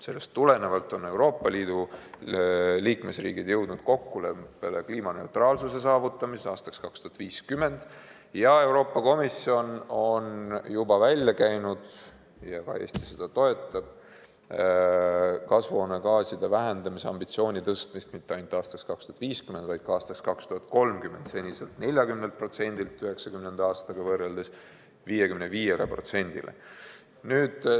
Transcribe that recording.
Sellest tulenevalt on Euroopa Liidu liikmesriigid jõudnud kokkuleppele kliimaneutraalsuse saavutamises aastaks 2050 ja Euroopa Komisjon on juba välja käinud – ka Eesti toetab seda – kasvuhoonegaaside vähendamise ambitsiooni tõstmist mitte ainult aastaks 2050, vaid ka aastaks 2030: seniselt 40%-lt 1990. aastaga võrreldes 55%-le.